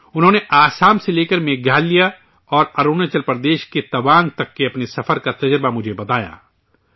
انہوں نے آسام سے لے کر میگھالیہ اور اروناچل پردیش کے توانگ تک کے اپنے سفر کا تجربہ مجھے بتایا